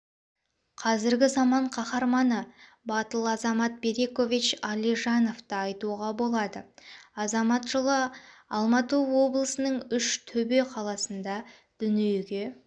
қазіргі заман каһарманы батыл азамат берикович алижановты айтуға болады азамат жылы алматы облысының үш-төбе қаласында дүниеге